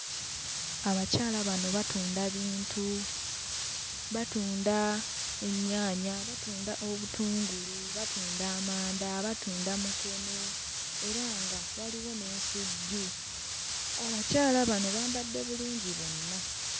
Abakyala bano batunda bintu batunda ennyaanya, batunda obutungulu, batunda amanda, batunda mukene era nga waliwo n'ensujju abakyala bano bambadde bulungi bonna.